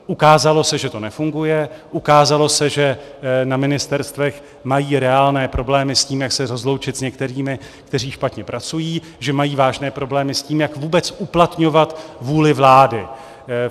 Ukázalo se, že to nefunguje, ukázalo se, že na ministerstvech mají reálné problémy s tím, jak se rozloučit s některými, kteří špatně pracují, že mají vážné problémy s tím, jak vůbec uplatňovat vůli vlády.